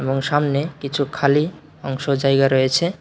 এবং সামনে কিছু খালি অংশ জায়গা রয়েছে।